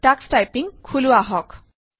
Tux typing খোলো আহক